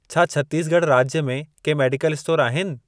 छा छत्तीसगढ़ राज्य में के मेडिकल स्टोर आहिनि?